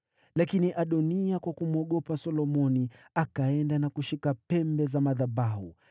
Lakini Adoniya kwa kumwogopa Solomoni, akaenda na kushika pembe za madhabahu.